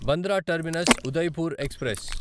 Bandra terminus Udaipur express